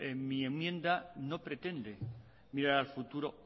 mi enmienda no pretende mirar al futuro